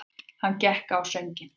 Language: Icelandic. Hann gekk á sönginn.